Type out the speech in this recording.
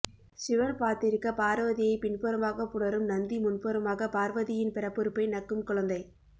சிவன் பார்த்திருக்க பார்வதியை பின்புறமாக புணரும் நந்தி முன்புறமாக பார்வதியின் பிறப்புறுப்பை நக்கும் குழந்தை